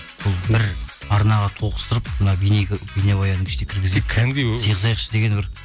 бұл бір арнаға тоғыстырып мына бейнебаянның ішіне сыйғызайықшы деген бір